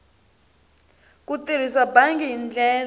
ku tirhisa bangi hi ndlela